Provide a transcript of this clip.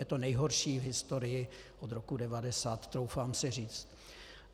Je to nejhorší v historii od roku 1990, troufám si říct.